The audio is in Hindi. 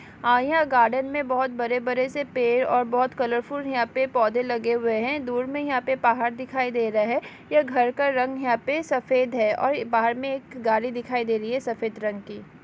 आ यह गार्डन में बहुत बड़े-बड़े से पेड़ और बहुत कॉर्फूल यहां पे पौधे लागे हुए हैं दूर में यहां पे पहाड़ दिखाई दे रहे यह घर का रंग यहां पे सफेद है और बाहर में एक गाड़ी दिखाई दे रही है सफ़ेद रंग की।